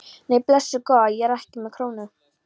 Nei, blessuð góða. ég er ekki með krónu!